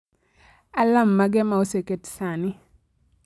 alarm mage ma oseket sani